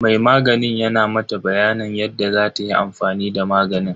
Mai maganin yana mata bayanin yadda zatayi amfani da maganin.